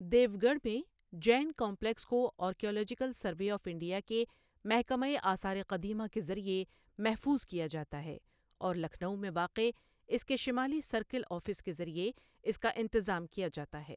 دیوگڑھ میں جین کمپلیکس کو archaeological survey of India کے محکمہ آثار قدیمہ کے ذریعہ محفوظ کیا جاتا ہے اور لکھنؤ میں واقع اس کے شمالی سرکل آفس کے ذریعہ اس کا انتظام کیا جاتا ہے۔